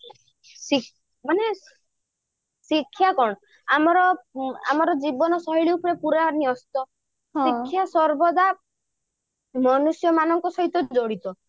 ମାନେ ଶିକ୍ଷା କଣ ଆମର ଜୀବନ ଉପରେ ପୁରା ନ୍ୟସ୍ତ ଶିକ୍ଷା ସର୍ବଦା ମନୁଷ୍ୟ ମାନଙ୍କ ସହିତ ଜଡିତ